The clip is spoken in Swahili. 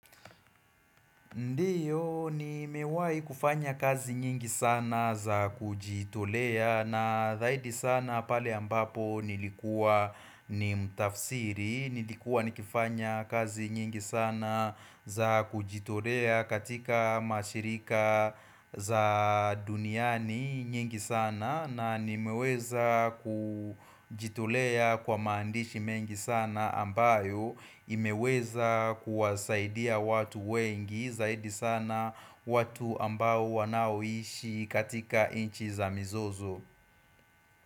Ndio nimewahi kufanya kazi nyingi sana za kujitolea na zaidi sana pale ambapo nilikua ni mtafsiri, nilikua nikifanya kazi nyingi sana za kujitolea katika mashirika za duniani nyingi sana, na nimeweza kujitolea kwa maandishi mengi sana ambayo imeweza kuwasaidia watu wengi zaidi sana watu ambao wanaoishi katika nchi za mizozo.